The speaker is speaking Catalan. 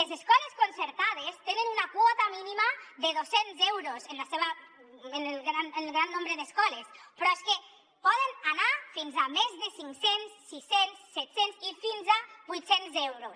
les escoles concertades tenen una quota mínima de dos cents euros en el gran nombre d’escoles però és que poden anar fins a més de cinc cents sis cents setcents i fins a vuit cents euros